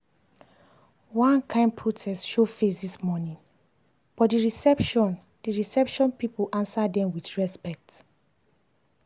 one kain protest show face this morning but the reception the reception people answer dem with respect.